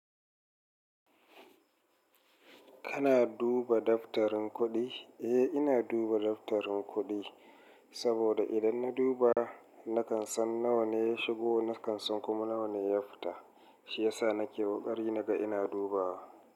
Kana duba daftarin kuɗi? Eh ina duba daftarin kuɗi, saboda idan na duba nakan san nawa ne ya shigo, nakan san kuma nawa ne ya fita, shi yasa nake ƙoƙari naga ina dubawa.